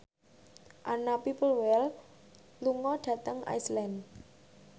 Anna Popplewell lunga dhateng Iceland